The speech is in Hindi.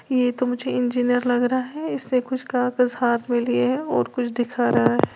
यह तो मुझे इंजीनियर लग रहा है इसने कुछ कागज हाथ में लिए है और कुछ दिख रहा है।